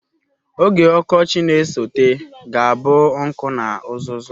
Oge ọkọchị na-esote ga-abụ nkụ na uzuzu.